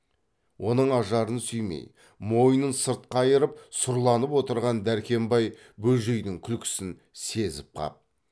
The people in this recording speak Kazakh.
оның ажарын сүймей мойнын сырт қайырып сұрланып отырған дәркембай бөжейдің күлкісін сезіп қап